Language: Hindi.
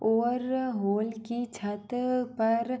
और होल की छत पर --